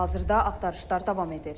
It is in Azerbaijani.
Hazırda axtarışlar davam edir.